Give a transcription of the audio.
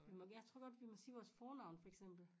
Vi må jeg tror godt vi må sige vores fornavne for eksempel